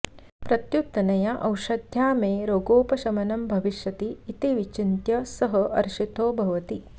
प्रत्युत अनया ओषध्या मे रोगोपशमनं भविष्यति इति विचिन्त्य सः हर्षितो भवति